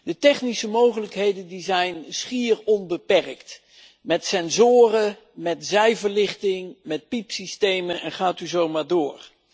De technische mogelijkheden die zijn schier onbeperkt met sensoren, met zijverlichting, met piepsystemen, en ga zo maar door.